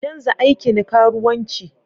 Canza aikin karuwanci.